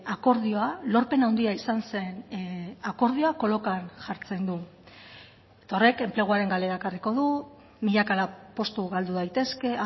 akordioa lorpen handia izan zen akordioa kolokan jartzen du eta horrek enpleguaren galera ekarriko du milaka postu galdu daitezke